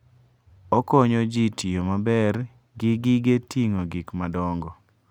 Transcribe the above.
Okonyo ji tiyo maber gi gige ting'o gik madongo.